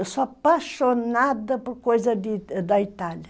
Eu sou apaixonada por coisa da Itália.